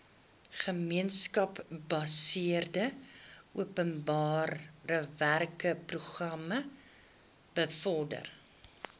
gemeenskapsgebaseerde openbarewerkeprogram bevorder